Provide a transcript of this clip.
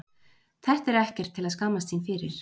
Þetta er ekkert til að skammast sín fyrir.